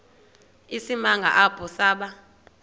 isimanga apho saba